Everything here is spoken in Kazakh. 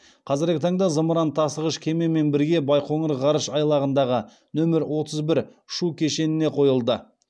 қазіргі таңда зымыран тасығыш кемемен бірге байқоңыр ғарыш айлағындағы нөмірі отыз бір ұшу кешеніне қойылды